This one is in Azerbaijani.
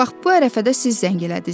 Bax bu ərəfədə siz zəng elədiz.